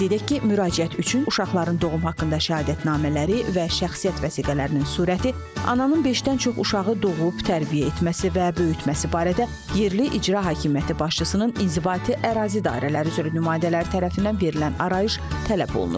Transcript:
Qeyd edək ki, müraciət üçün uşaqların doğum haqqında şəhadətnamələri və şəxsiyyət vəsiqələrinin surəti, ananın beşdən çox uşağı doğub, tərbiyə etməsi və böyütməsi barədə yerli icra hakimiyyəti başçısının inzibati ərazi dairələri üzrə nümayəndələri tərəfindən verilən arayış tələb olunur.